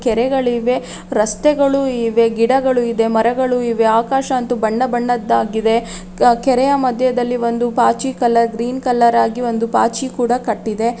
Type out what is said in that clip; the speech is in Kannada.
ಕೆರೆಗಳಿವೆ ರಸ್ತೆಗಳು ಇವೆ ಗಿಡಗಳು ಇದೆ ಮರಗಳು ಇವೆ ಆಕಾಶ ಅಂತೂ ಬಣ್ಣ ಬಣ್ಣದ್ದಾಗಿದೆ ಕ ಕೆರೆಯ ಮದ್ಯದಲ್ಲಿ ಒಂದು ಪಾಚಿ ಕಲರ್ ಗ್ರೀನ್ ಕಲರ್ ಆಗಿ ಒಂದು ಪಾಚಿ ಕೂಡ ಕಟ್ಟಿದೆ.